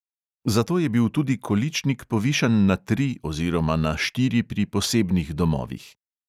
Zato je bil tudi količnik povišan na tri oziroma na štiri pri posebnih domovih.